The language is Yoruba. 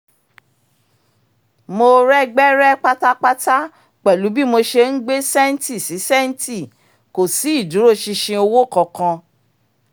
mo rẹ́gbẹ́rẹ́ pátápátá pẹ̀lú bí mo ṣe ń gbé sẹ́ńtì sí sẹ́ńtì kò sí ìdúróṣinṣin owó kankan